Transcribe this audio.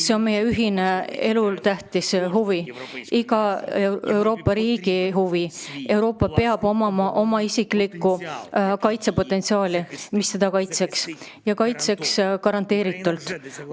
See on meie ühine elutähtis huvi, iga Euroopa riigi huvi: Euroopal peab olema oma isiklik kaitsepotentsiaal, mis teda kaitseks, ja kaitseks garanteeritult.